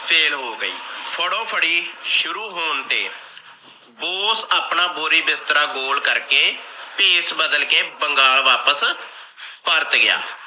fail ਹੋ ਗਈ। ਫੜੋ ਫੜੀ ਸ਼ੁਰੂ ਹੋਣ ਤੇ ਬੋਸ ਆਪਣਾ ਬੋਰੀ ਬਿਸਤਰਾ ਗੋਲ ਕਰਕੇ ਭੇਸ ਬਦਲ ਕੇ ਬੰਗਾਲ ਵਾਪਸ ਪਰਤ ਗਿਆ ।